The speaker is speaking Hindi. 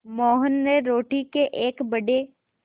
मोहन ने रोटी के एक बड़े